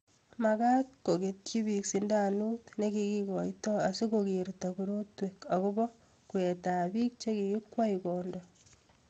Magaat kogetyi biik sindanot negigoitoi asikogerta korotwek agoba kweetab biik chegigikwei kondoo